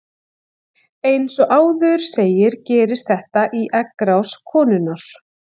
Eins og áður segir gerist þetta í eggrás konunnar.